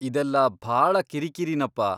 ಇದೆಲ್ಲ ಭಾಳ ಕಿರಿಕಿರಿನಪ್ಪ!